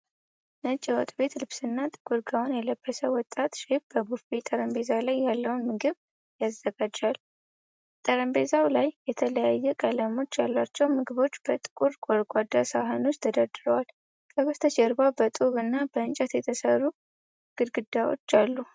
ነጭ የወጥ ቤት ልብስና ጥቁር ጋወን የለበሰ ወጣት ሼፍ በቡፌ ጠረጴዛ ላይ ያለውን ምግብ ያዘጋጃል። ጠረጴዛው ላይ የተለያዩ ቀለሞች ያሏቸው ምግቦች በጥቁር ጎድጓዳ ሳህኖች ተደርድረዋል። ከበስተጀርባ በጡብ እና በእንጨት የተሠሩ ግድግዳዎች አሉ።